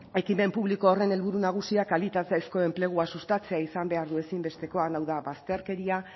ekimen publiko horren helburu nagusiak kalitatezko enplegua sustatzea izan behar du ezinbestekoa hau da bazterkeria